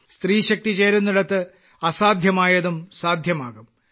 സ്ത്രീശക്തി ചേരുന്നിടത്ത് അസാധ്യമായതും സാധ്യമാകും